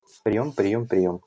приём приём приём